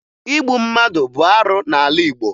Igbu mmadụ bụ arụ n'ala Igbo